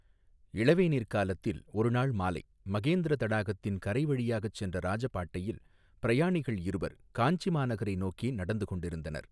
இளவேனிற் காலத்தில் ஒருநாள் மாலை மகேந்திர தடாகத்தின் கரை வழியாகச் சென்ற இராஜபாட்டையில் பிரயாணிகள் இருவர் காஞ்சி மாநகரை நோக்கி நடந்து கொண்டிருந்தனர்.